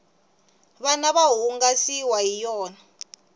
vana va hungasiwa hi yona